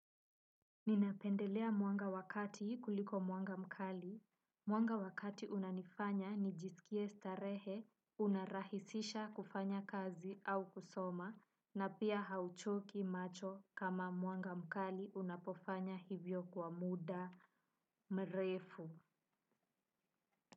Ninapendelea mwanga wa kati kuliko mwanga mkali, muanga wakati unanifanya nijisikie starehe, unarahisisha kufanya kazi au kusoma, na pia hauchoki macho kama mwanga mkali unapofanya hivyo kwa muda mrefu.